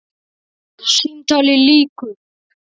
Símtali lýkur.